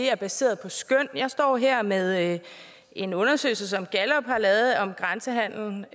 er baseret på skøn jeg står her med en undersøgelse som gallup har lavet om grænsehandelen